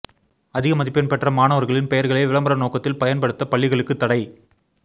அதிக மதிப்பெண் பெற்ற மாணவர்களின் பெயர்களை விளம்பர நோக்கத்தில் பயன்படுத்த பள்ளிகளுக்கு தடை